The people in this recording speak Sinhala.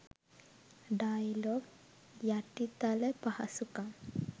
ඩයලොග් යටිතල පහසුකම්